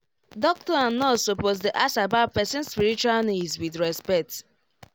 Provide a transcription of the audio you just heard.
doctor and nurse suppose dey ask about person spiritual needs with respect